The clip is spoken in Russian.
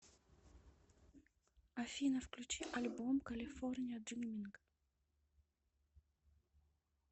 афина включи альбом калифорния дриминг